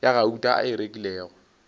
ya gauta a e rekilego